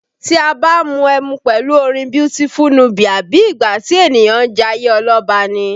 Tí a bá ń mu ẹmu pẹ̀lú orin Beautiful Nubia, bí ìgbà tí ènìyàn ń jayé ọlọ́ba ni